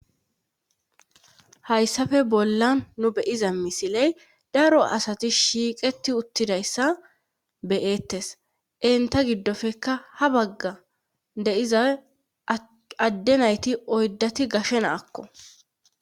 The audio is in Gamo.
Hayssafe bollan nu beyiza misiley daro asati shiiqeti uttidayssa be'eettes enta giddofekka ha bagga de'iza adde nayti oyddati gashe na'akko